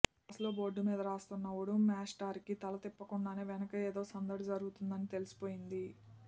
క్లాసులో బోర్డు మీద రాస్తున్న ఉడుం మేష్టారికి తల తిప్పకుండానే వెనక ఏదో సందడి జరుగుతోందని తెలిసిపోయింది